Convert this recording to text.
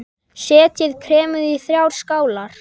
Setjið kremið í þrjár skálar.